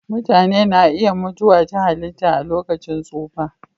Mutane na iya mutuwa ta halitta a lokacin tsufa.